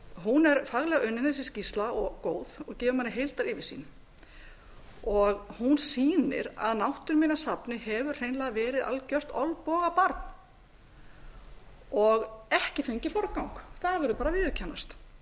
hún er faglega unnin þessi skýrsla og góð og gefur manni heildaryfirsýn hún sýnir að náttúruminjasafnið hefur hreinlega verið algjört olnbogabarn og ekki fengið forgang það verður bara að